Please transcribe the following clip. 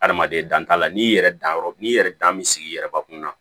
Adamaden dan t'a la n'i yɛrɛ dan yɔrɔ n'i yɛrɛ dan bɛ sigi yɛrɛ bakun na